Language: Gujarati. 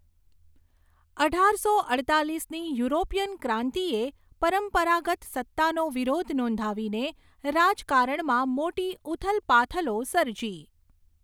અઢારસો અડતાલીસની યુરોપીઅન ક્રાંતિએ પરંપરાગત સત્તાનો વિરોધ નોંધાવીને રાજકારણમાં મોટી ઊથલપાથલો સર્જી.